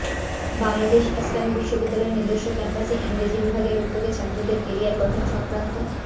বাংলাদেশ ইসলামী বিশ্ববিদ্যালয়ের নিজস্ব ক্যাম্পাসে ইংরেজী বিভাগের উদ্যোগে ছাত্রীদের ক্যারিয়ার গঠন সক্রান্ত